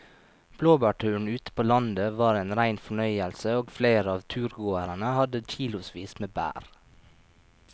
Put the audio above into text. Blåbærturen ute på landet var en rein fornøyelse og flere av turgåerene hadde kilosvis med bær.